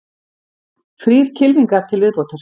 Þrír kylfingar til viðbótar